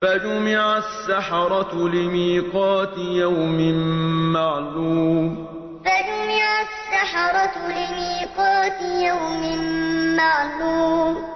فَجُمِعَ السَّحَرَةُ لِمِيقَاتِ يَوْمٍ مَّعْلُومٍ فَجُمِعَ السَّحَرَةُ لِمِيقَاتِ يَوْمٍ مَّعْلُومٍ